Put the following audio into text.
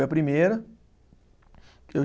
Era a primeira que eu